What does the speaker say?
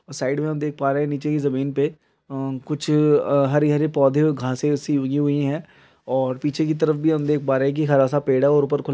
side में हम देख पा रहे नीचे की जमीन पे अ कुछ हरी-हरी पौधे और घासे उसी उगी हुई है और पीछे की तरफ भी हम देख पा रहे है की हरा-सा पेड़ है और ऊपर खुला--